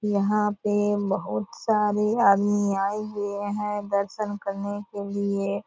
यहाँ पे बहुत सारे आदमी आये हुए है दर्शन करने के लिए।